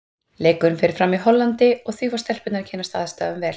Leikurinn fer fram í Hollandi og því fá stelpurnar að kynnast aðstæðum vel.